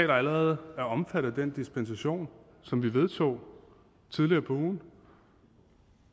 der allerede er omfattet af den dispensation som vi vedtog tidligere på ugen